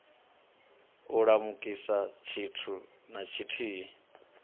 u lamukisa tshithu na tshithihi